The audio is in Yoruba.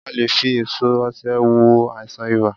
A lè e fi èso osè wo àìsàn ibà